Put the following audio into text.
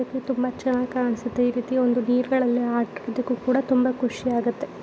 ಇದು ತುಂಬಾ ಚೆನಾಗ್ ಕಾಣಿಸುತ್ತೆ ಈ ರೀತಿ ನೀರ್ಗಳಲ್ಲಿ ಆಟ ಆಡೋದಕ್ಕೂ ಕೂಡ ತುಂಬಾ ಖುಷಿ ಆಗುತ್ತೆ.